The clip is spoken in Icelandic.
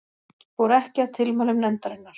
Fór ekki að tilmælum nefndarinnar